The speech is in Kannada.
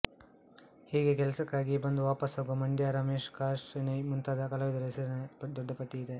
ಹೀಗೆ ಕೆಲಸಕ್ಕಾಗಿಯೇ ಬಂದು ವಾಪಸ್ಸಾಗುವ ಮಂಡ್ಯ ರಮೇಶ್ಪ್ರಕಾಶ್ ಶೆಣೈ ಮುಂತಾದ ಕಲಾವಿದರ ಹೆಸರಿನ ದೊಡ್ಡ ಪಟ್ಟಿಯಿದೆ